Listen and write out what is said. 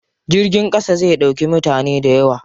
Jirgin ƙasa zai ɗauki mutane dayawa.